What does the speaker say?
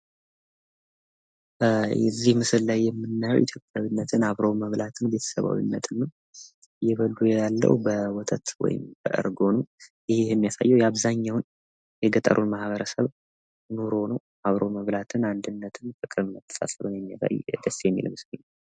ከዚህ ምስል ላይ የምናየው ኢትዮጵያዊነትን፣ ቤተ-ሰባዊነትን እና አብሮ መብላትን ነው። እና እየበሉ የማናየው በወተት ወይም በእርጎ ነው። ይህ የሚያሳየው የአብዛኛውን የገጠሩን ማህበረሰብ ኑሮ ነው አብሮ መብላትን አንድነትን ፣ ፍቅርን እና መተሳሰብን የሚያሳይ ነው። እና ደስ የሚል ምስል ነው።